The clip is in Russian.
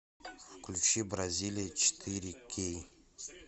включи бразилия четыре кей